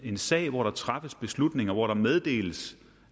en sag hvor der træffes beslutninger hvor der meddeles